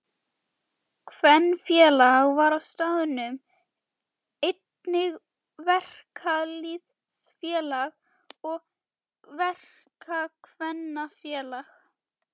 Kvenfélag var á staðnum, einnig verkalýðsfélag og verkakvennafélag.